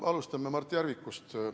Alustame Mart Järvikust.